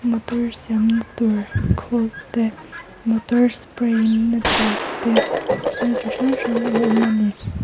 motor siamna tur khawl te motor spray na tur te thil chi hrang hrang a awm a ni.